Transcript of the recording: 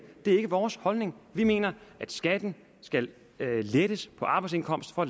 det er ikke vores holdning vi mener at skatten skal lettes på arbejdsindkomster